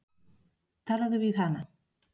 Talaðu við hana.